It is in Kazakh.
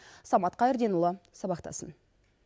самат қайырденұлы сабақтасын